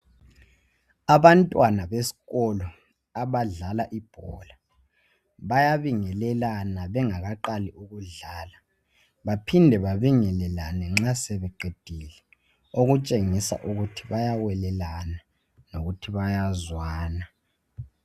Abantwana besikolo abadlala ibhola bayabingelana bengaqali ukudlala baphinde babingelalane nxa sebeqedile ukutshengisa ukuthi bayawelelana lokuthi bayazwana.